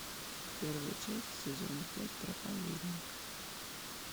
первая часть сезона пять проповедник